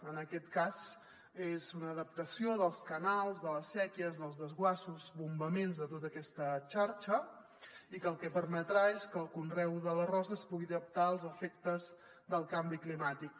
en aquest cas és una adaptació dels canals de les sèquies dels desguassos bombaments de tota aquesta xarxa i el que permetrà és que el conreu de l’arròs es pugui adaptar als efectes del canvi climàtic